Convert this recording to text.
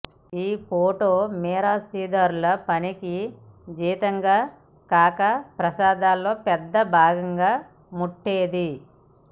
ఈ పోటు మిరాశీదారుల పనికి జీతంగా కాక ప్రసాదాల్లో పెద్ద భాగంగా ముట్టేది